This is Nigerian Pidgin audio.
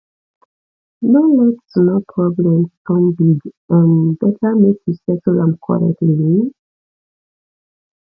no let small problem turn big um better make you settle am quietly um